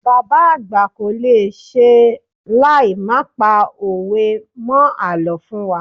Bàbá àgbà kolese láì má pa òwe mó àlọ́ fún wa.